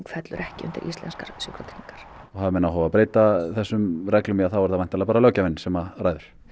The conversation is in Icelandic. fellur ekki undir íslenskar sjúkratryggingar og hafi menn áhuga á að breyta þessum reglum þá er það væntanlega bara löggjafinn sem ræður